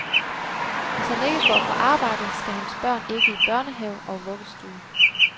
Hvis han ikke går på arbejde, skal hans børn ikke i børnehave og vuggestue.